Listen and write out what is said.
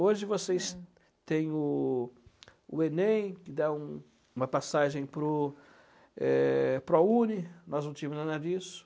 Hoje vocês têm o o enem, que dá um uma passagem para o é Prouni, nós não tínhamos nada disso.